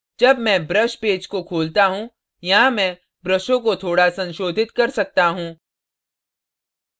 जब मैं brush page को खोलता हूँ यहाँ मैं ब्रशों को थोड़ा संशोधित कर सकता हूँ